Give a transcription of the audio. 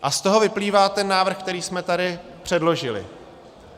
A z toho vyplývá ten návrh, který jsme tady předložili.